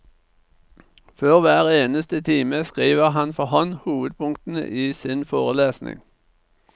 Før hver eneste time skriver han for hånd hovedpunktene i sin forelesning.